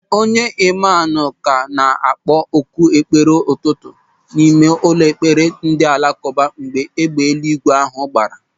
Onye imamu ka na-akpọ oku ekpere ụtụtụ n'ime ụlọ ekpere ndị alakụba mgbe égbè eluigwe ahụ gbaara.